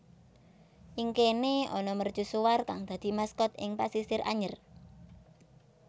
Ing kene ana mercusuar kang dadi maskot ing Pasisir Anyer